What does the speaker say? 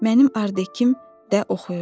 Mənim ardekım də oxuyurdu.